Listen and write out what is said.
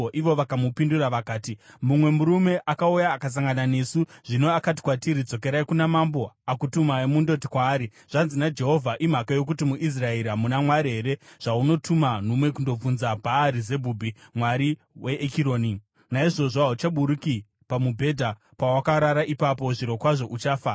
Ivo vakamupindura vakati, “Mumwe murume akauya akasangana nesu. Zvino akati kwatiri, ‘Dzokerai kuna mambo akutumai mundoti kwaari, “Zvanzi naJehovha: Imhaka yokuti muIsraeri hamuna Mwari here zvaunotuma nhume kundobvunza Bhaari-Zebhubhi, mwari weEkironi? Naizvozvo hauchaburuki pamubhedha pawakarara ipapo. Zvirokwazvo uchafa!” ’”